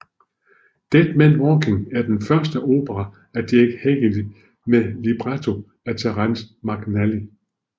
Dead Man Walking er den første opera af Jake Heggie med libretto af Terrence McNally